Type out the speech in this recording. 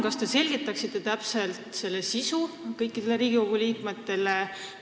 Kas te selgitaksite palun selle mõiste sisu kõikidele Riigikogu liikmetele?